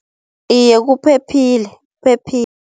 Iye kuphephile